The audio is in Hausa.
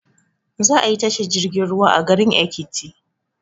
Za ayi tashar jirgin ruwa a garin ekiti